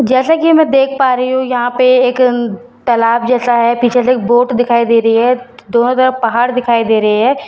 जैसा कि मैं देख पा रही हूं यहां पे एक अ तलाब जैसा है पीछे से एक वोट दिखाई दे रही है दोनों तरफ पहाड़ दिखाई दे रहे है ।